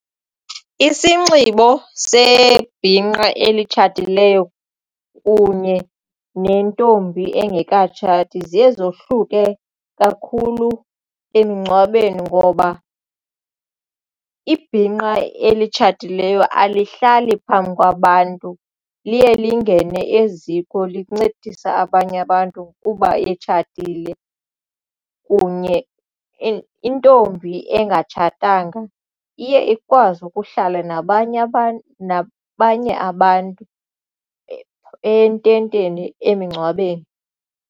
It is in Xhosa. Isinxibo sebhinqa elitshatileyo kunye nentombi engekatshati ziye zohluke kakhulu emngcwabeni ngoba ibhinqa elitshatileyo alihlali phambi kwabantu liye lingene eziko lincedise abanye abantu kuba etshatile kunye intombi engatshatanga iye ikwazi ukuhlala nabanye abantu, nabanye abantu ententeni emngcwabeni.